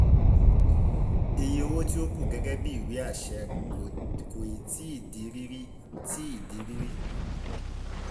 iye owó tí ó kù gẹ́gẹ́ bíi ìwé àṣẹ kò ì tíì di rírí tíì di rírí